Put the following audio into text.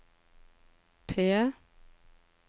P